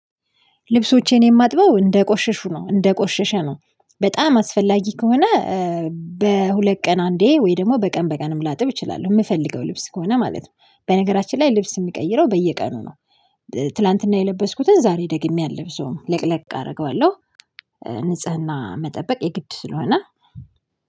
ልብሶቼን የማጥበው እንደቆሸሹ ነው እንደቆሸሸ ነው በጣም አስፈላጊ ከሆነ። በሁለት ቀን አንዴ ወይ ደግሞ በቀን በቀንም ላጥብ እችላለሁ። የምፈልገው ልብስ ከሆነ ማለት ነው። በነገራችን ላይ ልብስ የምቀይረው በየቀኑ ነው። ትላንትና የለበስኩትን ዛሬ ደግሜ አለብሰውም ለቅለቅ አደርገዋለሁ። ንጽህና መጠበቅ የግድ ስለሆነ